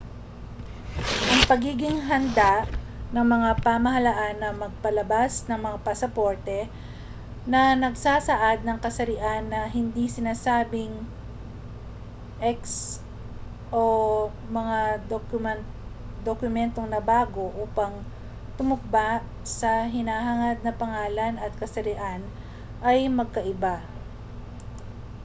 ang pagiging handa ng mga pamahalaan na magpalabas ng mga pasaporte na nagsasaad ng kasarian na hindi sinasabing x o mga dokumentong nabago upang tumugma sa hinahangad na pangalan at kasarian ay magkaiba